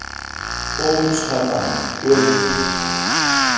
o o tshwanang o le